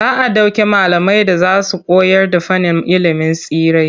Za a ɗauki malamai da za su koyarda fannin ilimin tsirrai.